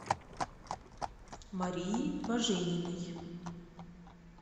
марии важениной